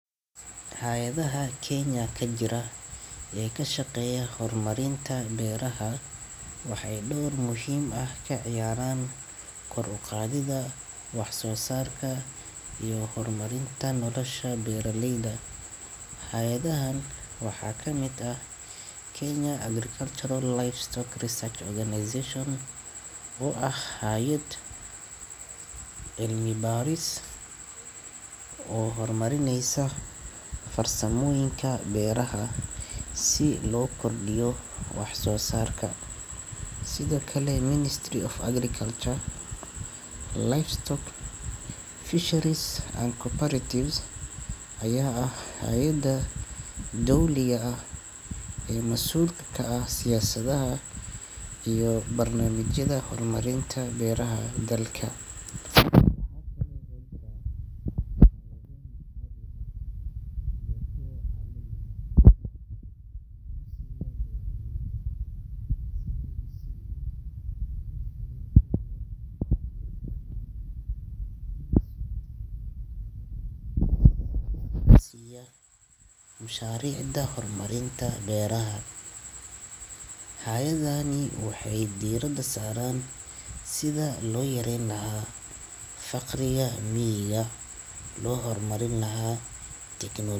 Hayedaha Kenya ka jira ee ka shaqeeya hormariinta beeraha waxay dhawr muhiim ah ka ciyaaraan kor u qaadida, wax soo saarka iyo hormarinta nolosha beeraleyda. Hayadahan waxaa ka mida Kenya Agricultural and Livestock Research Organization, oo ah hay'ad cilmibaaris oo hormarineysa farsamooyinka beeraha si loo kordhiyo wax soo saarka. Sidakale Ministry of Agriculture, Livestock, Fisheries and Cooperatives ayaa ah hay'adda dawladiya ah ee masuulka ka ah siyaasada iyo barnaamijyada hormarinta beeraha dalka. Mushaharici da horumarin ta beeraha. Hayadani waydiirada saaran sida loo yareyn lahaa faqriya miyiga loo hormarin lahaa tikinoolajiyeed.